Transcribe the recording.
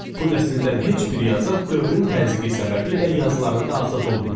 Bu nəsildən heç bir yazar dövrün təzyiqi səbəbiylə yazılarında azad olmayıb.